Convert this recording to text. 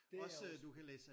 Det er også